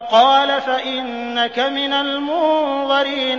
قَالَ فَإِنَّكَ مِنَ الْمُنظَرِينَ